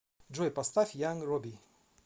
джой поставь янг родди